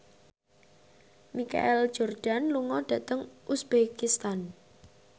Michael Jordan lunga dhateng uzbekistan